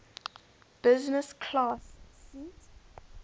business class seat